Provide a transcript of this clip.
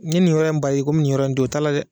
Ɲe nin yɔrɔ in bari ko mi nin yɔrɔ in to ye o t'a la dɛ.